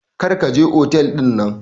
Kar ka je otel dinnan.